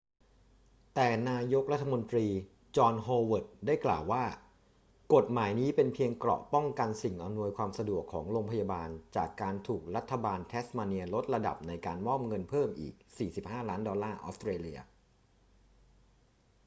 แต่นายกรัฐมนตรีจอห์น โฮเวิร์ด ได้กล่าวว่า กฎหมายนี้เป็นเพียงเกราะป้องกันสิ่งอำนวยความสะดวกของโรงพยาบาลจากการถูกรัฐบาลแทสมาเนียลดระดับในการมอบเงินเพิ่มอีก 45 ล้านดอลลาร์ออสเตรเลีย